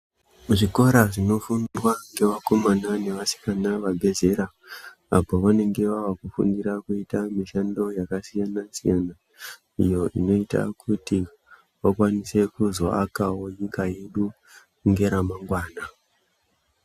Zvikora zvinofundwa ngevakomana nevasikana vabve zera apo vanenge vavakufundira kuita mishando yakasiyana-siyana. Iyo inoita kuti vakwanise kuzoakawo nyika yedu ngeramangwana.